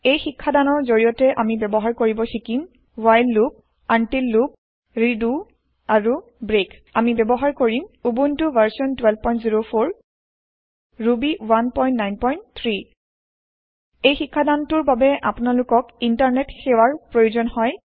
এই শিক্ষাদানৰ জৰিয়তে আমি ব্যৱহাৰ কৰিব শিকিম while loop until loop redo আৰু ব্ৰেক আমি ব্যৰহাৰ কৰিম উবুন্টু ভাৰচন 1204 ৰুবি 193 এই শিক্ষাদান টোৰ বাবে আপোনালোকক ইণ্টাৰনেট সেৱাৰ প্ৰয়োজন হব